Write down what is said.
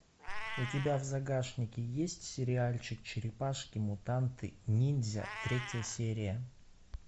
у тебя в загашнике есть сериальчик черепашки мутанты ниндзя третья серия